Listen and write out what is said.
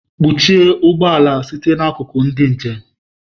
Kpọchie ụgbọ ala site n'akụkụ ndị njem!